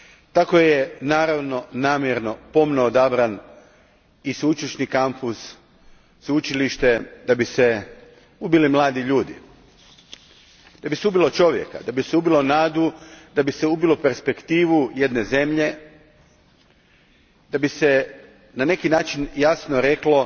Tako je naravno namjerno, pomno odabran i sveušilišni kampus da bi se ubili mladi ljudi, da bi se ubilo čovjeka, da bi se ubilo nadu, da bi se ubilo perspektivu jedne zemlje. Da bi se na neki način jasno reklo